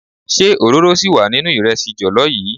Ṣé òróró síì wà nínú ìrẹsì jọ̀lọ́ yii?